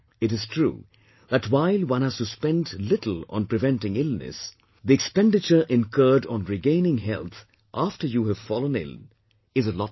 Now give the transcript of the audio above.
It is true that while one has to spend little on preventing illness, the expenditure incurred on regaining health after you have fallen ill, is a lot more